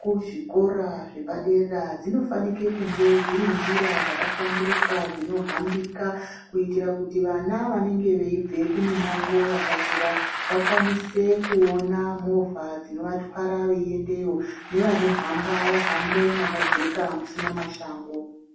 kuzvikora zvepadera zvinofanike kunge dziri njira dzakahlamburuka dzinohambika kuitira kuti vana vanenge veibva kumimango yakakura vakwanise kuona movha dzinovatwara veindeyo nevanohamba vahambe mwakajeka musina mashango.